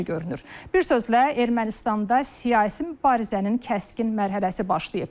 Bir sözlə, Ermənistanda siyasi mübarizənin kəskin mərhələsi başlayıb.